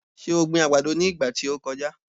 Ṣe o gbin àgbàdo ní ìgbà tí o kọjá?